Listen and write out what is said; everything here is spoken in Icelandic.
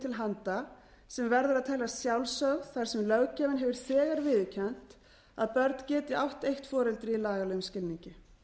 til handa sem verður að teljast sjálfsögð þar sem löggjafinn hefur þegar viðurkennt að börn geti átt eitt foreldri í lagalegum skilningi